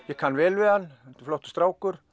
ég kann vel við hann þetta er flottur strákur